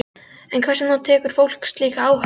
En hvers vegna tekur fólk slíka áhættu?